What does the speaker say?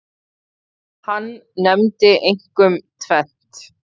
Hann nefndi einkum tvennt.